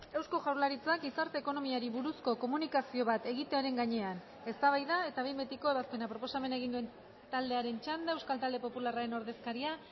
eusko jaurlaritzak gizarte ekonomiari buruzko komunikazio bat egitearen gainean eztabaida eta behin betiko ebazpena proposamena egin duen taldearen txanda euskal talde popularraren ordezkaria